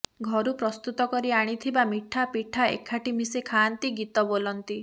ଘରୁ ପ୍ରସ୍ତୁତ କରି ଆଣିଥିବା ମିଠା ପିଠା ଏକାଠି ମିଶି ଖାଆନ୍ତି ଗୀତ ବୋଲନ୍ତି